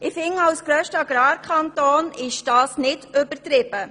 Für den grössten Agrarkanton ist dies nicht übertrieben.